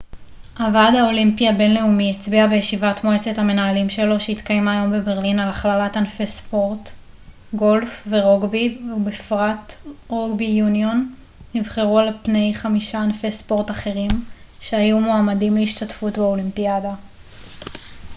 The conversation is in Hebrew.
הוועד האולימפי הבינלאומי הצביע בישיבת מועצת המנהלים שלו שהתקיימה היום בברלין על הכללת ענפי ספורט גולף ורוגבי ובפרט רוגבי יוניון נבחרו על פני חמישה ענפי ספורט אחרים שהיו מועמדים להשתתפות באולימפיאדה